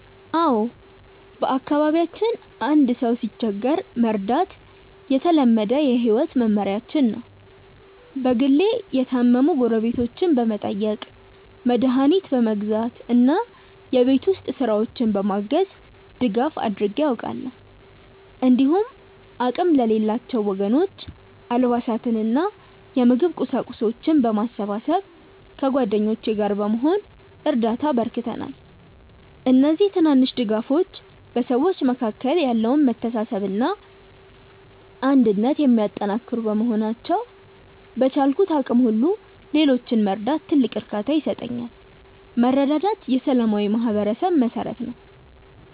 አዎ፣ በአካባቢያችን አንድ ሰው ሲቸገር መርዳት የተለመደ የህይወት መመሪያችን ነው። በግሌ የታመሙ ጎረቤቶችን በመጠየቅ፣ መድኃኒት በመግዛት እና የቤት ውስጥ ስራዎችን በማገዝ ድጋፍ አድርጌ አውቃለሁ። እንዲሁም አቅም ለሌላቸው ወገኖች አልባሳትንና የምግብ ቁሳቁሶችን በማሰባሰብ ከጓደኞቼ ጋር በመሆን እርዳታ አበርክተናል። እነዚህ ትናንሽ ድጋፎች በሰዎች መካከል ያለውን መተሳሰብና አንድነት የሚያጠናክሩ በመሆናቸው፣ በቻልኩት አቅም ሁሉ ሌሎችን መርዳት ትልቅ እርካታ ይሰጠኛል። መረዳዳት የሰላማዊ ማህበረሰብ መሠረት ነው።